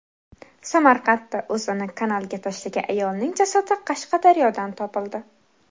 Samarqandda o‘zini kanalga tashlagan ayolning jasadi Qashqadaryodan topildi.